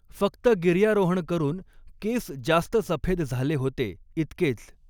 फ़क्त गिर्यारोहण करून केस जास्त सफ़ेद झाले होते इतकेच.